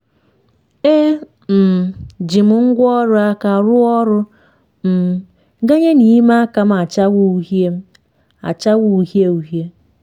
e um ji m ngwáọrụ aka rụọ ọrụ um ganye na ime aka m achawa uhie m achawa uhie uhie.